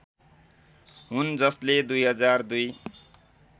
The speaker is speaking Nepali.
हुन् जसले २००२